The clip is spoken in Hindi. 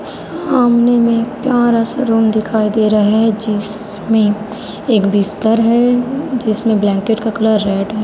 सामने में प्यारा सा रूम दिखाई दे रहा है जिसमें एक बिस्तर है जिसमें ब्लैंकेट का कलर रेड है।